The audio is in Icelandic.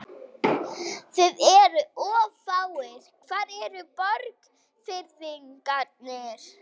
Þið eruð of fáir, hvar eru Borgfirðingarnir?